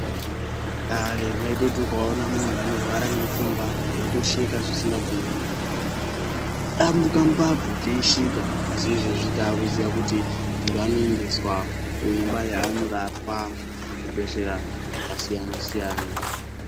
Kare waitoti ukaona munhu anorwara nepfungwa taitosheka zvisikabviri kudambunga mbabvu teisheka asi izvezvi takuziva kuti muntu anoendeswa kuimba yaanorawa kuzvibhedhlera zvakasiyana siyana.